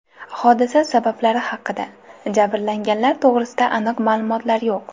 Hodisa sabablari haqida, jabrlanganlar to‘g‘risida aniq ma’lumotlar yo‘q.